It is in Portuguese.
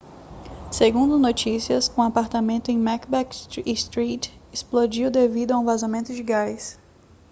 segundo notícias um apartamento em macbeth street explodiu devido a um vazamento de gás